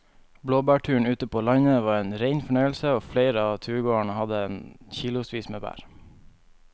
Blåbærturen ute på landet var en rein fornøyelse og flere av turgåerene hadde kilosvis med bær.